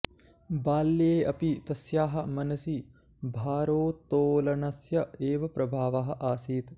बाल्ये अपि तस्याः मनसि भारोत्तोलनस्य एव प्रभावः आसीत्